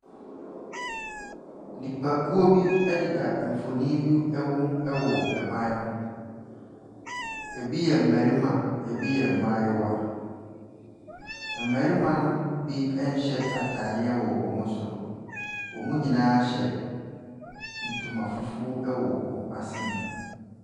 Nnipakuo bi ɛdeda nfonni bi ɛho ɛwɔ ban ho. Ebi yɛ mmarimma, ebi yɛ mmaayewa. Mmarimma no bi ɛnhyɛ ataade wɔ wɔn soro. Wɔn nyinaa hyɛ ntoma fufuo ɛwɔ wɔn asene.